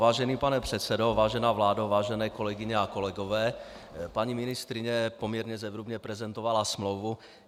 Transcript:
Vážený pane předsedo, vážená vládo, vážené kolegyně a kolegové, paní ministryně poměrně zevrubně prezentovala smlouvu.